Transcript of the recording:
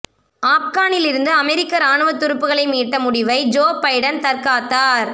ஆப்கானிலிருந்து அமெரிக்க ராணுவ துருப்புகளை மீட்ட முடிவை ஜோ பைடன் தற்காத்தார்